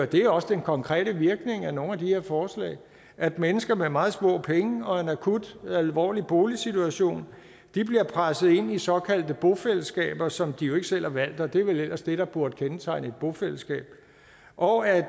det er også den konkrete virkning af nogle de her forslag at mennesker med meget små penge og en akut og alvorlig boligsituation bliver presset ind i såkaldte bofællesskaber som de jo ikke selv har valgt og det er vel ellers det der burde kendetegne et bofællesskab og at